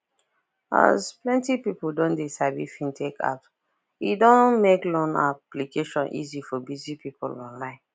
as plenty people don de sabi fintech apps e don make loan application easy for busy people online